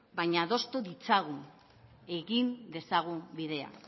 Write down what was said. baina adostu ditzagun egin dezagun bidea